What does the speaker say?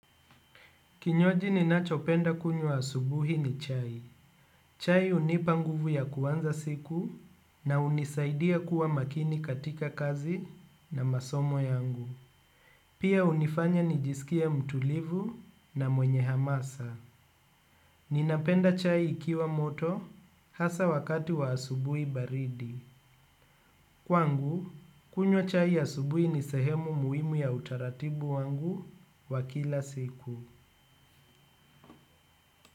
Kinywaji ninachopenda kunywa asubuhi ni chai. Chai hunipa nguvu ya kuanza siku na hunisaidia kuwa makini katika kazi na masomo yangu. Pia hunifanya nijisikie mtulivu na mwenye hamasa. Ninapenda chai ikiwa moto hasa wakati wa asubuhi baridi. Kwangu, kunywa chai asubuhi ni sehemu muhimu ya utaratibu wangu wa kila siku.